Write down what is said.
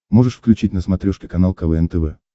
можешь включить на смотрешке канал квн тв